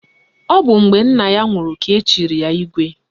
Ọ bụ mgbe nna ya nwụrụ ka echiri ya Igwe